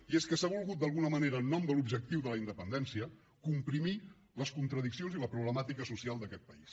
i és que s’ha volgut d’alguna manera en nom de l’objectiu de la independència comprimir les contradiccions i la problemàtica social d’aquest país